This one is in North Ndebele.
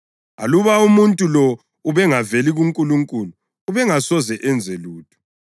Aluba umuntu lo ubengaveli kuNkulunkulu ubengasoze enze lutho.”